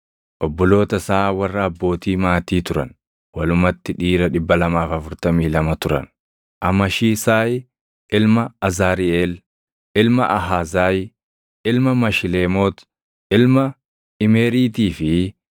obboloota isaa warra abbootii maatii turan; walumatti dhiira 242 turan. Amashisaay ilma Azariʼeel, ilma Ahazaayi, ilma Mashileemoot, ilma Imeeriitii fi